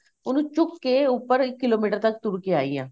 ਉਹਨੂੰ ਚੁੱਕ ਕੇ ਉਪਰ ਇੱਕ kilometer ਤੱਕ ਤੁਰ ਕੇ ਆਈ ਆ